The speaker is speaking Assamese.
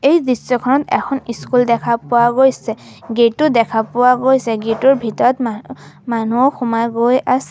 এই দৃশ্যখন এখন স্কুল দেখা পোৱা গৈছে গেট ও দেখা পোৱা গৈছে গেট ৰ ভিতৰত মান মানুহ সোমাই গৈ আছে।